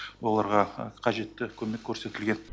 оларға қажетті көмек көрсетілген